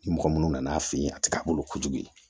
Ni mɔgɔ minnu nana a fɛ yen a tɛ ka bolo kojugu